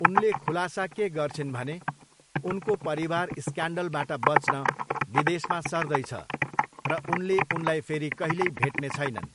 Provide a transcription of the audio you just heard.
उनले खुलासा के गर्छिन् भने, उनको परिवार स्क्यान्डलबाट बच्न विदेशमा सर्दैछ र उनले उनलाई फेरि कहिल्यै भेट्ने छैनन्।